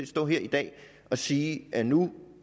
stå her i dag og sige at nu